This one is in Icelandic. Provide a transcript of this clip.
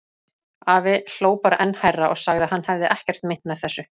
Afi hló bara enn hærra og sagði að hann hefði ekkert meint með þessu.